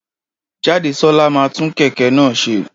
Jádesọ́lá máa tún kẹ̀kẹ́ náà ṣe.